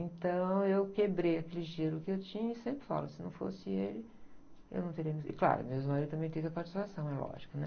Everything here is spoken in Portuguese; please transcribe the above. Então, eu quebrei aquele gelo que eu tinha e sempre falo, se não fosse ele, eu não teria... Claro, meu ex-marido também teve a participação, é lógico, né?